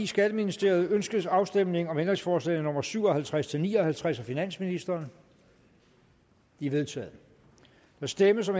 skatteministeriet ønskes afstemning om ændringsforslag nummer syv og halvtreds til ni og halvtreds af finansministeren de er vedtaget der stemmes om